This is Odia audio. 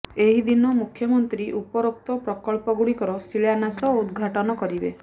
ଏହିଦିନ ମୁଖ୍ୟମନ୍ତ୍ରୀ ଉପରୋକ୍ତ ପ୍ରକଳ୍ପଗୁଡ଼ିକର ଶିଳାନ୍ୟାସ ଓ ଉଦ୍ଘାଟନ କରିବେ